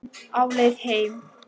Á leið heim